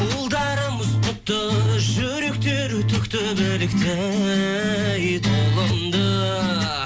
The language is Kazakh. ұлдарымыз құтты жүректері түкті білікті ей тұлымды